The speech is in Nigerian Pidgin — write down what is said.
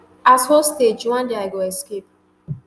[as hostage] one day i go escape